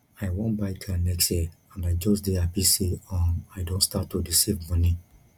i wan buy car next year and i just dey happy say um i don start to dey save money